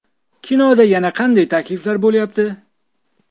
Kinoda yana qanday takliflar bo‘lyapti?